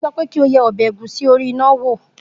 Mo sọ pé kí o ye ọbẹ̀ ẹ̀gúsí orí iná wò!